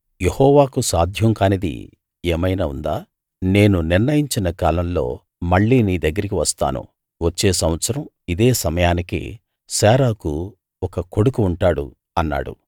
యెహోవాకు సాధ్యం కానిది ఏమైనా ఉందా నేను నిర్ణయించిన కాలంలో మళ్ళీ నీ దగ్గరికి వస్తాను వచ్చే సంవత్సరం ఇదే సమయానికి శారాకు ఒక కొడుకు ఉంటాడు అన్నాడు